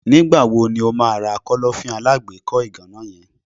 Nígbà wo ni o ma ra Kọ́lọ́fín alágbèékọ́ ìgànná yen?